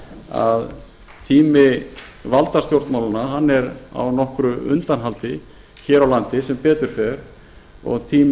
að tími valdastjórnmálanna er á nokkru undanhaldi hér á landi sem betur fer og tími